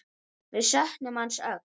Við söknum hans öll.